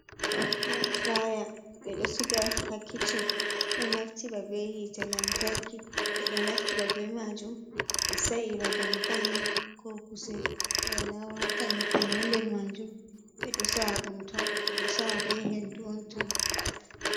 Yam fraya ɓe ɗo siga ha kiccin ɗo naftira ba be hite lantarki, ɓe ɗo naftira be majum ɓe Saira ba dankali ko kusel, ɓe lowata nyebbam ha nder majum ɓeɗo saa be hendu on tan.